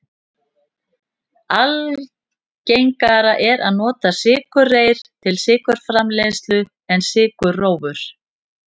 Algengara er að nota sykurreyr til sykurframleiðslu en sykurrófur.